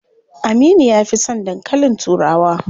Aminu ya fi son dankalin turawa.